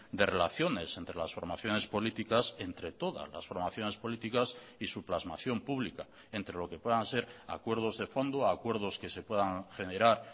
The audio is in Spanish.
de relaciones entre las formaciones políticas entre todas las formaciones políticas y su plasmación pública entre lo que puedan ser acuerdos de fondo a acuerdos que se puedan generar